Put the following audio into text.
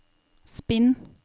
spinn